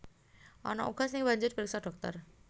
Ana uga sing banjur priksa dhokter